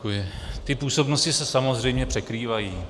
Ty působnosti se samozřejmě překrývají.